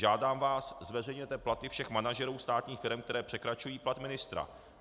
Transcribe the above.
Žádám vás, zveřejněte platy všech manažerů státních firem, které překračují plat ministra.